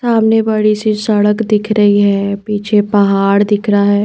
सामने बड़ी सी सड़क दिख रही है पीछे पहाड़ दिख रहा है।